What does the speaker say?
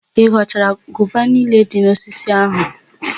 Ị ghọchara gova niile dị n'osisi áhụ̀?